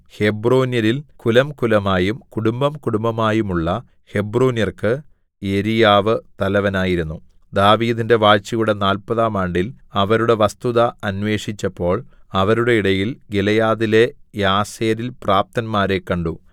ഹെബ്രോന്യരിൽ കുലംകുലമായും കുടുംബംകുടുംബമായുമുള്ള ഹെബ്രോന്യർക്ക് യെരീയാവ് തലവനായിരുന്നു ദാവീദിന്റെ വാഴ്ചയുടെ നാല്പതാം ആണ്ടിൽ അവരുടെ വസ്തുത അനേൃഷിച്ചപ്പോള്‍ അവരുടെ ഇടയിൽ ഗിലെയാദിലെ യാസേരിൽ പ്രാപ്തന്മാരെ കണ്ടു